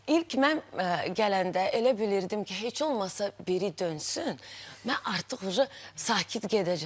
İlk mən gələndə elə bilirdim ki, heç olmasa biri dönsün, mən artıq sakit gedəcəm.